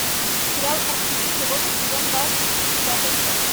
сериал арктический воздух сезон два пятая часть